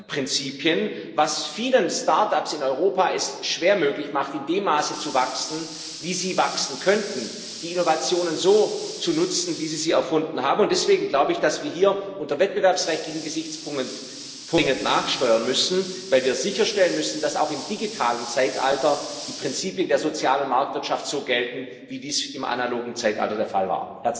Prinzipien, was es vielen Start ups in Europa schwer möglich macht, in dem Maße zu wachsen, wie sie wachsen könnten, die Innovationen so zu nutzen, wie sie sie erfunden haben. Deswegen müssen wir hier unter wettbewerbsrechtlichen Gesichtspunkten dringend nachsteuern, weil wir sicherstellen müssen, dass auch im digitalen Zeitalter die Prinzipien der sozialen Marktwirtschaft so gelten, wie dies im analogen Zeitalter der Fall war.